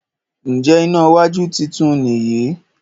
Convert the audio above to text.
Njé iná wájú títún ni yí?